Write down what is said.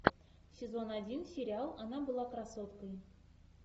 сезон один сериал она была красоткой